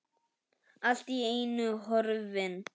Allt í einu horfin.